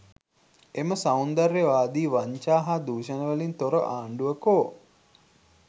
එම සෞන්දර්යවාදී වංචා හා දුෂණ වලින් තොර ආණ්ඩුව කෝ?